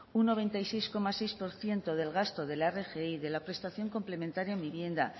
un noventa y seis coma seis por ciento del gasto de la rgi de la prestación complementaria en vivienda